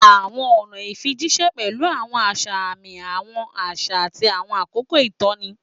Àwọn ọ̀nà ìfijíṣẹ́ pẹ̀lú àwọn àṣà àmì, àwọn àṣà, àti àwọn àkókò ìtọ́ni.